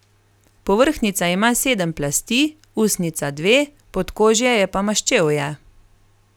Povrhnjica ima sedem plasti, usnjica dve, podkožje je pa maščevje.